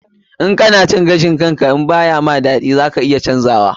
In kana cin gashin ka ba ya ma daɗi, za ka iya canza hakan.